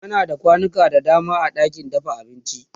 ana da kwanuka da dama a ɗakin dafa abinci